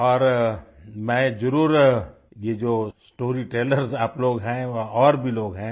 और मैं जरुर ये जो स्टोरी टेलर्स आप लोग हैं व और भी लोग हैं